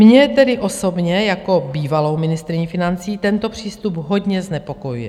Mě tedy osobně jako bývalou ministryni financí tento přístup hodně znepokojuje.